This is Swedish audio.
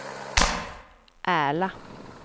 Ärla